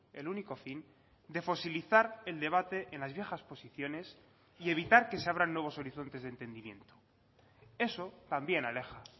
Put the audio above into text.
el único fin de fosilizar el debate en las viejas posiciones y evitar que se abran nuevos horizontes de entendimiento eso también aleja